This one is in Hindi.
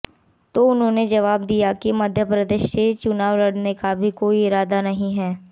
तो उन्होंने जवाब दिया कि मध्यप्रदेश से चुनाव लड़ने का अभी कोई इरादा नहीं है